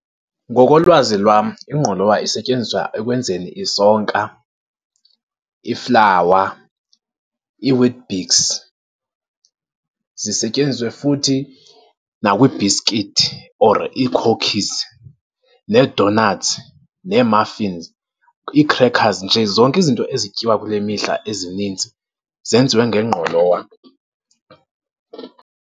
Ngokolwazi lwam ingqolowa isetyenziswa ekwenzeni isonka, iflawa, iiWeet-Bix. Zisetyenziswe futhi nakwii-biskithi or iikhokhizi, nee-doughnuts nee-muffins, ii-crackers, nje zonke izinto ezityiwa kule mihla ezininzi zenziwe ngengqolowa.